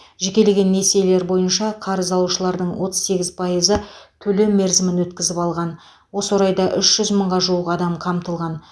жекелеген несиелер бойынша қарыз алушылардың отыз сегіз пайызы төлем мерзімін өткізіп алған осы орайда үш жүз мыңға жуық адам қамтылған